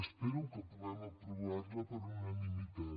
espero que puguem aprovar la per unanimitat